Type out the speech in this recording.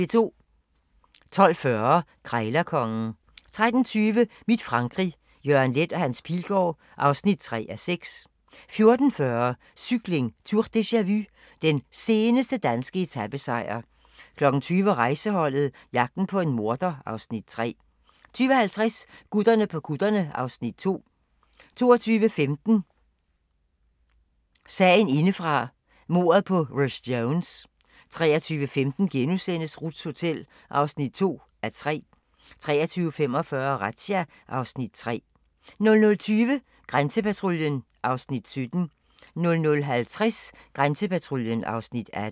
12:40: Krejlerkongen 13:20: Mit Frankrig - Jørgen Leth & Hans Pilgaard (3:6) 14:40: Cykling: Tour deja-vu - den seneste danske etapesejr 20:00: Rejseholdet - jagten på en morder (Afs. 3) 20:50: Gutterne på kutterne (Afs. 2) 22:15: Sagen indefra - mordet på Rhys Jones 23:15: Ruths Hotel (2:3)* 23:45: Razzia (Afs. 3) 00:20: Grænsepatruljen (Afs. 17) 00:50: Grænsepatruljen (Afs. 18)